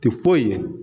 Ti foyi ye